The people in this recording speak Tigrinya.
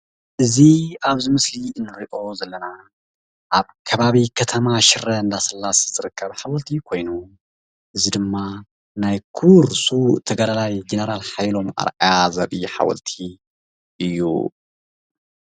እዚ ኣብዚ ምስሊ እንሪኦ ዘለና ኣብ ከባቢ ከተማ ሽረ እንዳስላሰ ዝርከብ ሓወልቲ ኮይኑ እዚ ድማ ናይ ክቡር ስዉእ ተጋዳላይ ጀነራል ሓየሎም ኣርኣያ ዘርኢ ሓወልቲ እዩ።